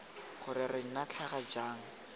gore re nna tlhaga jang